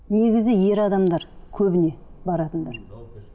негізі ер адамдар көбіне баратындар